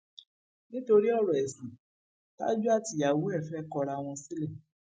nítorí ọrọ ẹsìn tájú àtìyàwó ẹ fẹẹ kọra wọn sílẹ